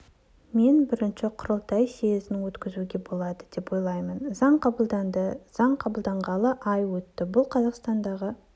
мен бірінші құрылтай съезін өткізуге болады деп ойлаймын заң қабылданды заң қабылданғалы ай өтті бұл қазақстандағы